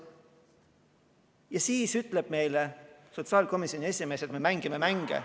Ning siis ütleb meile sotsiaalkomisjoni esimees, et me mängime mänge.